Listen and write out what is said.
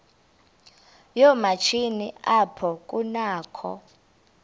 yoomatshini apho kunakho